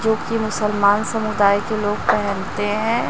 जो कि मुसलमान समुदाय के लोग पहनते हैं।